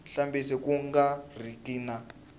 hambileswi ku nga riki na